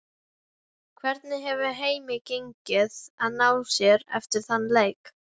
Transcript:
Hvernig hefur heimi gengið að ná sér eftir þann leik?